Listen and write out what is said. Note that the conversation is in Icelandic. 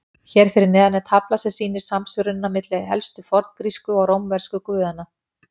Hér fyrir neðan er tafla sem sýnir samsvörunina milli helstu forngrísku og rómversku guðanna.